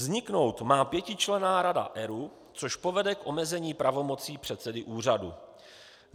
Vzniknout má pětičlenná rada ERÚ, což povede k omezení pravomocí předsedy úřadu.